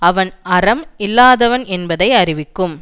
அவன் அறம் இல்லாதவன் என்பதை அறிவிக்கும்